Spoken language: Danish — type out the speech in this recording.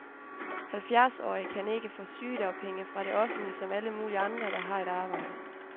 Halvfjerdsårige kan ikke få sygedagpenge fra det offentlige som alle mulige andre, der har et arbejde.